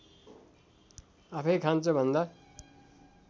आफैँ खान्छ भन्दा